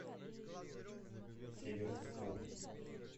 северску